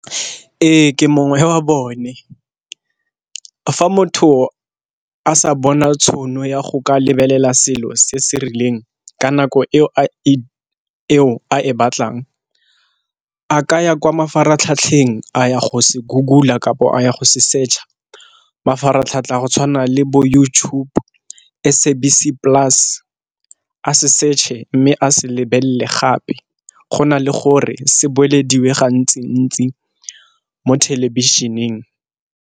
Ee, ke mongwe wa bone. Fa motho a sa bona tšhono ya go ka lebelela selo se se rileng ka nako eo a e batlang, a kaya kwa mafaratlhatlheng a ya go se Google-a kapo a ya go se search-a. Mafaratlhatlha a go tshwana le bo YouTube, SABC Plus a search-e mme a se lebelele gape. Go na le gore se boelediwang ga ntsi-ntsi mo thelebišeneng.